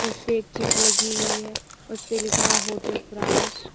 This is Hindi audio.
इसपे एक चीट लगी हुई है उसपे लिखा है होटल प्रास ।